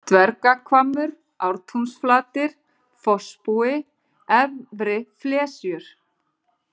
Dvergahvammur, Ártúnsflatir, Fossbúi, Efri Flesjur